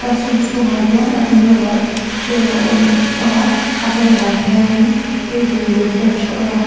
classroom chhungah hian a hnung lamah chair a awm a a hmalamah hianin table leh bench a awm a.